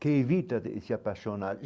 que evita de se apaixonar.